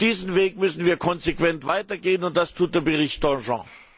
Diesen Weg müssen wir konsequent weitergehen und das tut der Bericht Danjean!